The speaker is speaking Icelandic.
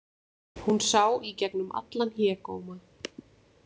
Hún sá í gegnum allan hégóma.